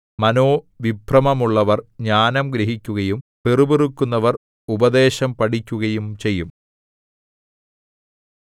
മനോവിഭ്രമമുള്ളവർ ജ്ഞാനം ഗ്രഹിക്കുകയും പിറുപിറുക്കുന്നവർ ഉപദേശം പഠിക്കുകയും ചെയ്യും